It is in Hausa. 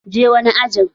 Je wani ajin!